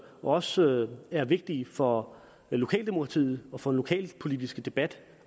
også er vigtige for lokaldemokratiet og for den lokalpolitiske debat